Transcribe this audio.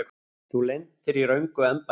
Þú lentir í röngu embætti.